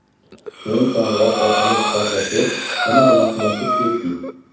Keyin qo‘ng‘iroq orqali suhbatlashib, yanada yaqinlashib ketdik.